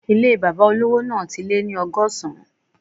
Ilé bàbá olówò náà ti lé ní ọgọ́sán